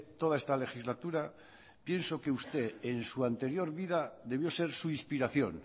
toda esta legislatura pienso que usted en su anterior vida debió ser su inspiración